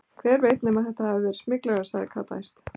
Hver veit nema þetta hafi verið smyglarar, sagði Kata æst.